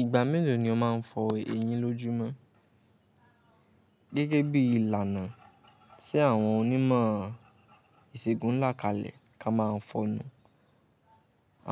Ìgbà mélòó ni o máa n fọ eyín lójúmọ́? Gẹ́gẹ́ bí ìlànà tí àwọn onímọ̀ ìsègùn ń là kalẹ̀ ká má a n fọnu.